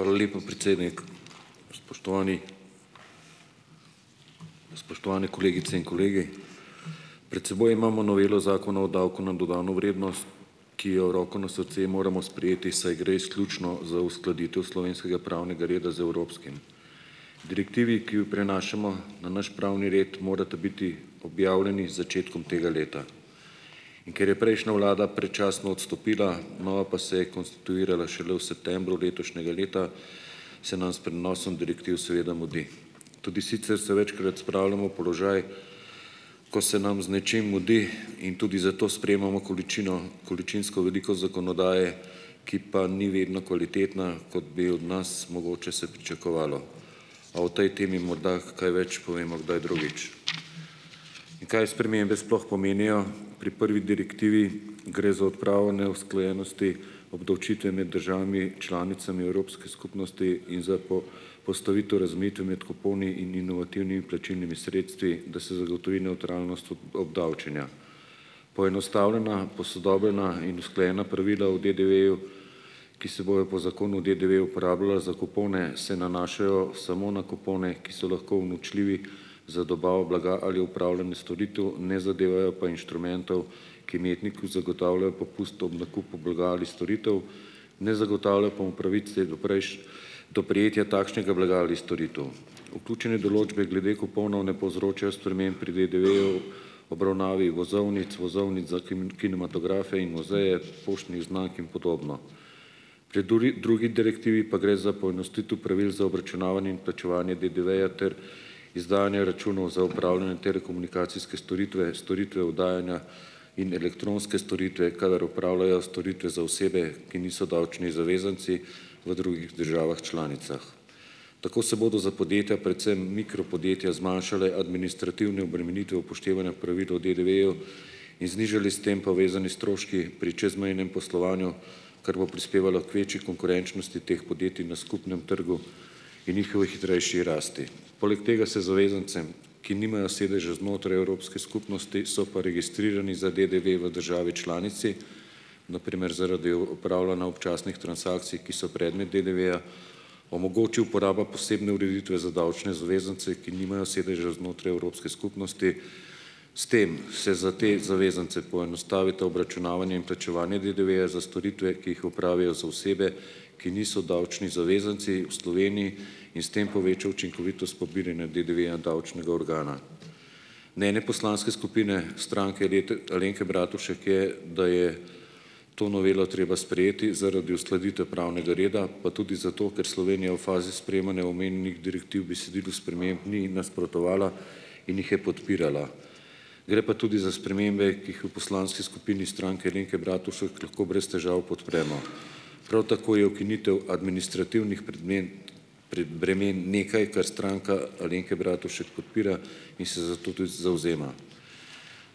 Hvala lepa, predsednik. Spoštovani. Spoštovane kolegice in kolegi. Pred seboj imamo novelo zakona o davku na dodano vrednost, ki jo, roko na srce, moramo sprejeti, saj gre izključno za uskladitev slovenskega pravnega reda z evropskim. Direktivi, ki jo prenašamo na naš pravni red, morata biti objavljeni z začetkom tega leta, in ker je prejšnja vlada predčasno odstopila, nova pa se je konstituirala šele v septembru letošnjega leta, se nam s prenosom direktiv seveda mudi. Tudi sicer se večkrat spravljamo v položaj, ko se nam z nečim mudi in tudi zato sprejemamo količino, količinsko veliko zakonodaje, ki pa ni vedno kvalitetna, kot bi od nas mogoče se pričakovalo, a o tej temi morda kaj več povemo kdaj drugič. In kaj spremembe sploh pomenijo? Pri prvi direktivi gre za odpravo neusklajenosti obdavčitve med državami članicami Evropske skupnosti in za postavitev, razmejitve med kuponi in inovativnimi plačilnimi sredstvi, da se zagotovi nevtralnost obdavčenja. Poenostavljena, posodobljena in usklajena pravila o DDV-ju, ki se bojo po zakonu o DDV-ju uporabljala za kupone, se nanašajo samo na kupone, ki so lahko unovčljivi za dobavo blaga ali upravljanje storitev, ne zadevajo pa inštrumentov, ki imetniku zagotavljajo popust ob nakupu blaga ali storitev, ne zagotavljajo pa mu pravice do do prejetja takšnega blaga ali storitev. Vključene določbe glede kuponov ne povzročajo sprememb pri DDV-ju , obravnavi vozovnic, vozovnic za kinematografe in muzeje, poštnih znamk in podobno. Pri drugi direktivi pa gre za poenostavitev pravil za obračunavanje in plačevanje DDV-ja ter izdajanja računov za opravljanje telekomunikacijske storitve, storitve oddajanja in elektronske storitve, kadar upravljajo storitve za osebe, ki niso davčni zavezanci v drugih državah članicah. Tako se bodo za podjetja, predvsem mikro podjetja zmanjšale administrativne obremenitve upoštevanja pravil o DDV-ju in znižali s tem povezani stroški pri čezmejnem poslovanju, kar bo prispevalo k večji konkurenčnosti teh podjetij na skupnem trgu in njihovi hitrejši rasti. Poleg tega se zavezancem, ki nimajo sedeža znotraj Evropske skupnosti, so pa registrirani za DDV v državi članici, na primer zaradi upravljanja občasnih transakcij, ki so predmet DDV-ja, omogoči uporaba posebne ureditve za davčne zavezance, ki nimajo sedeža znotraj Evropske skupnosti, s tem se za te zavezance poenostavita obračunavanje in plačevanje DDV-ja za storitve, ki jih opravijo za osebe, ki niso davčni zavezanci v Sloveniji, in s tem poveča učinkovitost pobiranja DDV-ja davčnega organa. Mnenje poslanske skupine Alenke Bratušek je, da je to novelo treba sprejeti zaradi uskladitve pravnega reda, pa tudi zato, ker Slovenija v fazi sprejemanja omenjenih direktiv besedilu sprememb ni nasprotovala in jih je podpirala. Gre pa tudi za spremembe, ki jih v poslanski skupini Stranke Alenke Bratušek lahko brez težav podpremo. Prav tako je ukinitev administrativnih predmen bremen nekaj, kar Stranka Alenke Bratušek podpira, in se za to tudi zavzema.